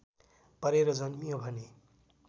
परेर जन्मियो भने